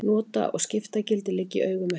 Nota- og skiptagildi liggja í augum uppi.